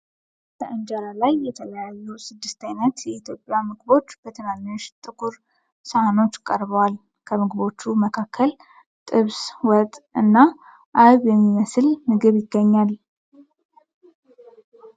በእንጀራ ላይ የተለያዩ ስድስት አይነት የኢትዮጵያ ምግቦች በትንንሽ ጥቁር ሳህኖች ቀርበዋል። ከምግቦቹ መካከል ጥብስ፣ ወጥ እና አይብ የሚመስል ምግብ ይገኛል።